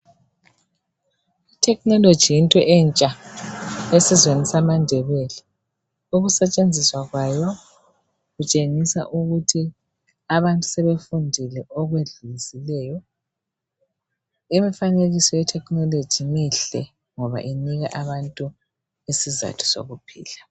Ithekhinoloji yinto entsha esizweni samaNdebele. Ukusetshenziswa kwayo kutshengisa ukuthi abantu sebefundile okwedlulisileyo . Imifanekiso yethekhinoloji mihle ngoba inika abantu isizatho sokuphila.